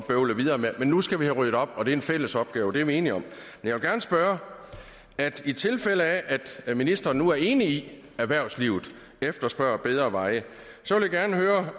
bøvle videre med men nu skal vi have ryddet op og det er en fælles opgave det er vi enige om jeg vil gerne spørge i tilfælde af at ministeren nu er enig i at erhvervslivet efterspørger bedre veje